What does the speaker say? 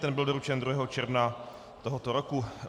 Ten byl doručen 2. června tohoto roku.